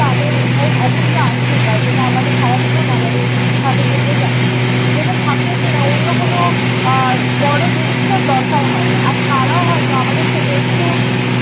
তাঁদের অমূল্য আশীর্বাদ যেটা আমাদের সারাজীবন আমাদের সাথে থেকে যাবে। যেটা থাকলে কি-না অন্য কোনো আহ বড় জিনিসের আর দরকার হয় না। আর তাঁরাও হয়ত আমাদের থেকে একটু